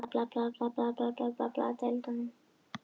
Hér eru öll úrslit kvöldsins í neðri deildum: